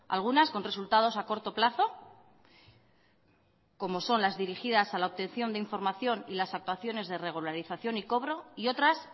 algunas con resultados a corto plazo como son las dirigidas a la obtención de información y las actuaciones de regularización y cobro y otras